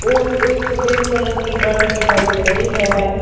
और एक सफेद कलर की गाड़ी दिखाई दे रही है।